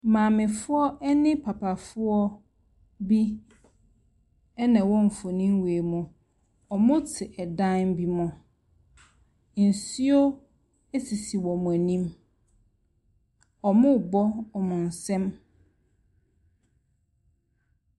Maamefoɔ ne papafoɔ bi ɛna ɛwɔ mfoni wei mu. Wɔte dan bi ho. Nsuo sisi wɔn anim. Wɔrebɔ wɔn nsam.